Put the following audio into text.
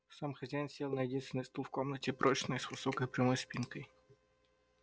сам хозяин сел на единственный стул в комнате прочный с высокой прямой спинкой